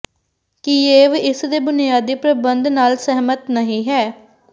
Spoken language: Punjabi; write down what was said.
ਕਿਯੇਵ ਇਸ ਦੇ ਬੁਨਿਆਦੀ ਪ੍ਰਬੰਧ ਨਾਲ ਸਹਿਮਤ ਨਹੀ ਹੈ